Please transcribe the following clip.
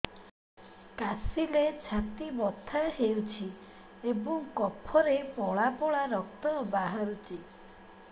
କାଶିଲେ ଛାତି ବଥା ହେଉଛି ଏବଂ କଫରେ ପଳା ପଳା ରକ୍ତ ବାହାରୁଚି